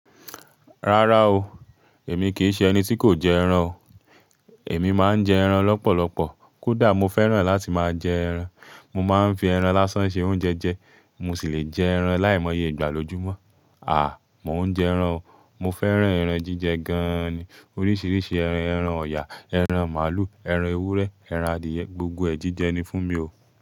Rárá o, èmi kì í ṣe ẹni tí kò jẹ ẹran o. Èmi máa ń jẹ ẹran lọ́pọ̀lọpọ̀. Kódà mo fẹ́ràn láti máa jẹ ẹran. Mo máa ń fi ẹran lásán se oúnjẹ jẹ, mo sì lè jẹ ẹran láìmọye ìgbà lójúmọ́. Mò ń jẹ ẹran o. Mo fẹ́ràn ẹran jíjẹ gan-an ni. Oríṣiríṣi ẹran: ẹran ọ̀yà, ẹran màlúù, ẹran ewúrẹ́, ẹran adìẹ, gbogbo ẹ̀ jíjẹ ni fún mi o.